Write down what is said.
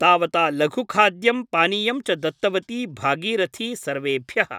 तावता लघुखाद्यं पानीयं च दत्तवती भागीरथी सर्वेभ्यः ।